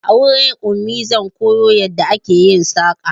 A wurin Ummi zan koyo yadda ake yin saƙa